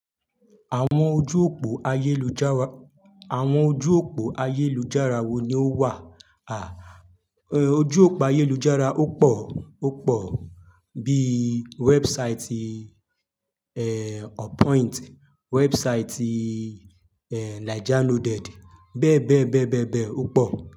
Àwọn ojú òpó ayélujára, àwọn ojú òpó ayélujára wo ni ó wà? À, ojú òpó ayélujára ó pọ̀, ó pọ̀ bí website, eeh, Appoint, website, eeh, Naijaloaded. Bẹ́ẹ̀ bẹ́ẹ̀ bẹ́ẹ̀ bẹ́ẹ̀ bẹ́ẹ̀ ó pọ̀